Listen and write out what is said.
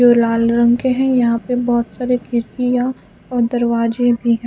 जो लाल रंग के हैं यहां पे बहोत सारे खिड़कियां और दरवाजे भी है।